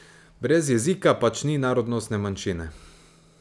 Brez jezika pač ni narodnostne manjšine.